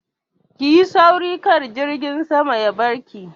Ki yi sauri kar jirgin sama ya barki!